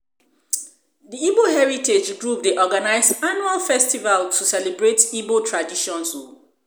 the Igbo Heritage Group dey organize annual festivals to celebrate igbo traditions o